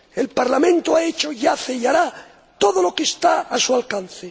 El Parlamento ha hecho, hace y hará todo lo que está a su alcance.